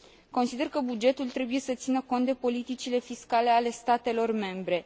Consider că bugetul trebuie să țină cont de politicile fiscale ale statelor membre.